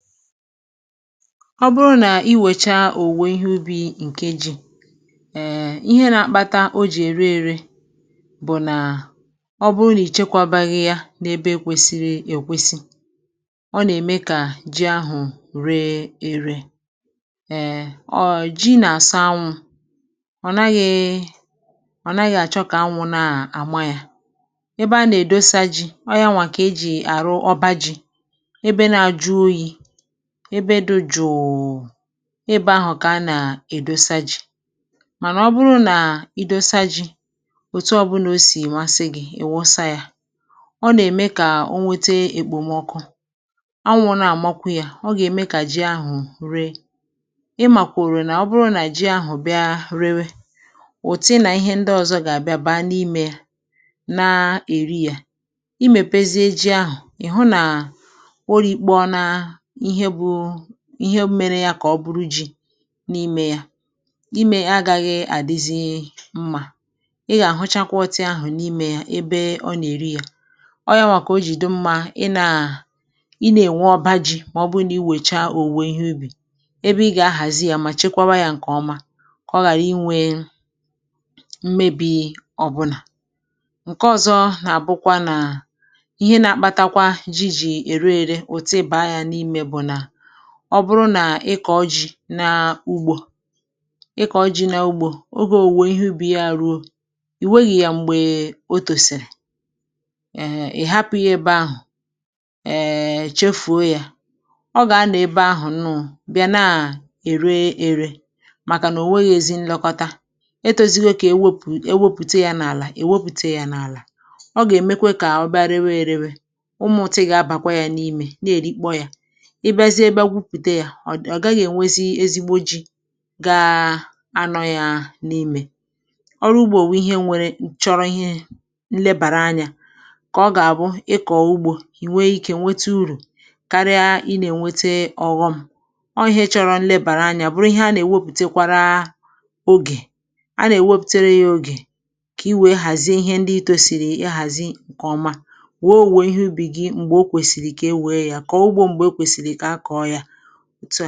Ọ bụrụ na i mechaa owuwe ihe ubi ji gị ma i chekwaghị ya nke ọma n’ebe kwesiri ekwesi, ji ahụ ga-amalite ire ere, ire ere. Ji chọrọ anyanwụ mgbe e kpụrụ ya ka o wee dịrị nkụ, ma ekwesịghị ịhapụ ya ebe anyanwụ siri ike nke ukwuu. Nke a bụ ihe mere mmadụ ji na-ewu ọba ji, ebe a na-adọpụ ji ka ikuku wee na-agafe nke ọma. Ma ọ bụrụ na i tinye ha ebe ọ bụla n’ime otu heap, um anyanwụ ga-ekpo ha nke ukwuu, ọ ga-eme ka ha daa ma rie ere, rie ere. Ị maara na mgbe ji riri ere, ụmụ nje na ihe ndị ọzọ ga-ata ha, ị gaghị enweta ezi ji. Ọ bụrụ na mmadụ rie ji riri ere, ọ gaghị abụ ezi ji, dịka ji echekwara nke ọma n’ime ọba ji. Ya mere, mgbe i mechara owuwe ihe ubi ji gị, i kwesiri ihazi ha ma chekwaa ha nke ọma ka mmebi ghara imetụ ha. Ma ọ bụrụ na i meeghị otú ahụ, ụmụ nje ga-eri ha, um ha ga-adịrị ire, n’ihi na a naghị enye ha nlekọta, ma ọ bụ hapụrụ ha n’ala. Ọ bụrụ na e hapụ ha n’ala ruo ogologo oge, termites na ihe ndị ọzọ ga-ata ha, ji ahụ ga-agbasa rie ere, rie ere. Ọ bụrụ na nke a mere, i gaghị enweta ezi ji iji rie ma ọ bụ ree. Ịkụ ugbo chọrọ ezi nlekọta. Mgbe mmadụ jiri nlekọta kụọ ugbo, ọ na-enweta uru. Ma ọ bụrụ na mmadụ chefuo ma ghara ilekọta ugbo, ihe ọ ga-enweta bụ naanị ọnwụnwa. Ịkụ ugbo bụ ihe chọrọ okwukwe na oge kwesiri ekwesi, ka owuwe ihe ubi mee n’oge kwesịrị ime ya, a na-echekwa ihe ubi ahụ nke ọma.